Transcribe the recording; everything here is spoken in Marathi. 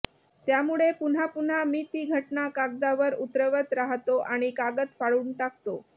त्यामुळे पुन्हा पुन्हा मी ती घटना कागदावर उतरवत राहतो आणि कागद फाडून टाकतो